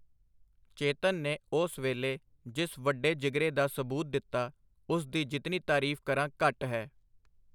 ਚੇਤਨ ਨੇ ਉਸ ਵੇਲੇ ਜਿਸ ਵੱਡੇ ਜਿਗਰੇ ਦਾ ਸਬੂਤ ਦਿੱਤਾ, ਉਸ ਦੀ ਜਿਤਨੀ ਤਾਰੀਫ ਕਰਾਂ ਘੱਟ ਹੈ.